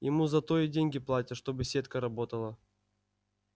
ему за то деньги и платят чтобы сетка работала